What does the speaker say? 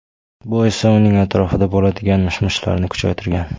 Bu esa uning atrofida bo‘ladigan mish-mishlarni kuchaytirgan.